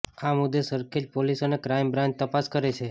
આ મુદ્દે સરખેજ પોલીસ અને ક્રાઈમ બ્રાન્ચ તપાસ કરે છે